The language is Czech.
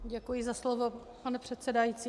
Děkuji za slovo, pane předsedající.